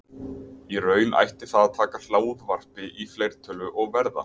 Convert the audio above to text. Í raun ætti það að taka hljóðvarpi í fleirtölu og verða